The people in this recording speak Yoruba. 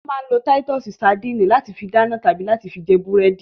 Wọ́n máa ń lo títọ́sì sadínì láti fi dáná tàbí láti fi jẹ búrẹ́dì.